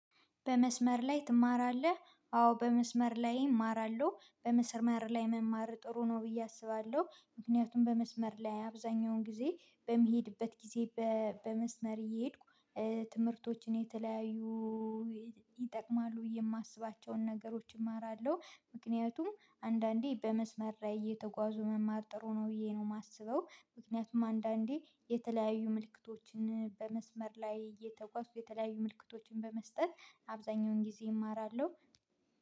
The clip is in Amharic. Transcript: በመስመር ላይ ትማራለህ? አዎ በመስመር ላይ እማራለሁ። በመስመር ላይ መማር ጥሩ ነው ብዬ አስባለሁ። ምክንያቱም በመስመር ላይ አብዛኛውን ጊዜ በምሄድበት ጊዜ በመስመር እየሄድኩ፤ ትምህርቶችን የተለያዩ ይጠቅማሉ ብዬ የማስባቸውን ነገሮች እማራለሁደ ምክንያቱም አንዳንዴ በመስመር ላይ እየተጓዙ መማር ጥሩ ነው ብዬ ነው የማስበው። ምክንያቱም አንዳንዴ የተለያዩ ምልክቶችን በመስመር ላይ እየተጓዝኩ የተለያዩ ምልክቶችን በመስጠት አብዛኛውን ጊዜ እማራለሁ።